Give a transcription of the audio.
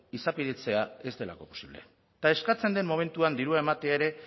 izapidetzea ez delako posible eta eskatzen den momentuan dirua ematea ere